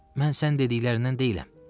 Mən sən dediklərindən deyiləm.